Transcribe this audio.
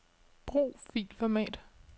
Brug filformat.